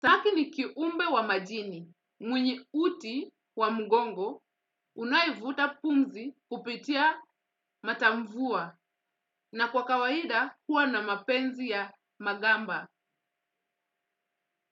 Saki ni kiumbe wa majini, mwenye uti wa mgongo, unayevuta pumzi kupitia matamvua, na kwa kawaida huwa na mapenzi ya magamba.